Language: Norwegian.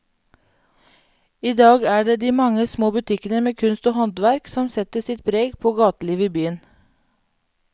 I dag er det de mange små butikkene med kunst og håndverk som setter sitt preg på gatelivet i byen.